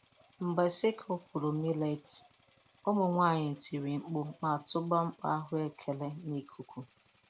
Mgbe sickle kụrụ millet, ụmụ nwanyị tiri mkpu ma tụba mkpo ahụekere n'ikuku.